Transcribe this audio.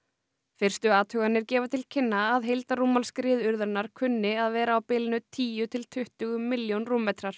fyrstu athuganir gefa til kynna að heildarrúmmál skriðuurðarinnar kunni að vera á bilinu tíu til tuttugu milljón rúmmetrar